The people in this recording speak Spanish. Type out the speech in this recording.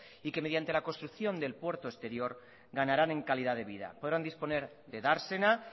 y que mediante la construcción del puerto exterior ganarán en calidad de vida podrán disponer de dársena